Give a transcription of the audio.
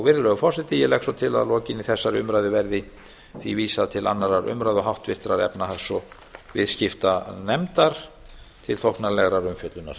virðulegur forseti ég legg svo til að lokinni þessari umræðu verði því vísað til annarrar umræðu og háttvirtrar efnahags og viðskiptanefndar til þóknanlegrar umfjöllunar